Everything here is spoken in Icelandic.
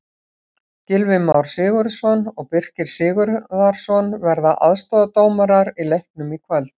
Gylfi Már Sigurðsson og Birkir Sigurðarson verða aðstoðardómarar í leiknum í kvöld.